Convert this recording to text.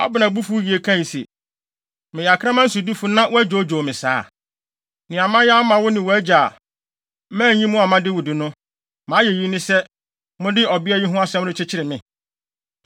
Abner bo fuw yiye kae se, “Meyɛ akraman sodifo wɔ Yuda na wɔadwoodwoo me saa? Nea mayɛ ama wo ne wʼagya, a manyi mo amma Dawid no, mʼayeyi ne sɛ, mode ɔbea yi ho asɛm rekyekyere me?